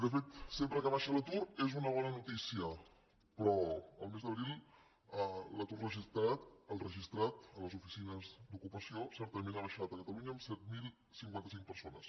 de fet sempre que baixa l’atur és una bona notícia però el mes d’abril l’atur registrat el registrat a les oficines d’ocupació certament ha baixat a catalunya en set mil cinquanta cinc persones